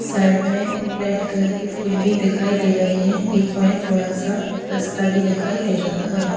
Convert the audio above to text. Side में red colour की फूल भी दिखाई दे रही है बीच में थोड़ा सा रास्ता भी दिखाई दे रहा है।